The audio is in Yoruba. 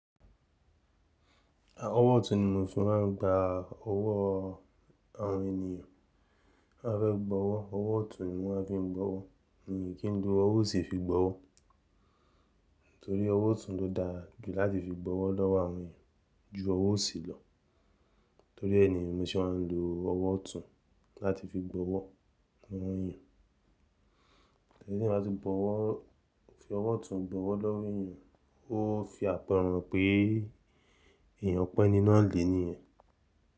Ọwọ́ ọ̀tún ni mọ́ fi máa ń gba ọwọ́ àwọn ènìyàn bá fẹ́ bọwọ́. Ọwọ́ ọ̀tún ni mọ́ maa fi ń gbọwọ́ ni kí n ló ọwọ́ òsì fi gbọwọ́. Nítorí ọwọ́ ọ̀tún ló dáa jù láti fi gbọwọ́ lọ́wọ́ àwọn èeyàn ju ọwọ́ òsì lọ. Torí ẹ ni mo ṣe máa ń lo ọwọ́ ọ̀tún láti fi gbọwọ́ àwọn èeyàn. Ẹni tí yań bá ti bọwọ́ fi ọwọ́ ọ̀tún bọwọ́ lọ́wọ́ ènìyàn, ó fi àpẹẹrẹ han pe èèyàn pon eni naá lè ni yẹn.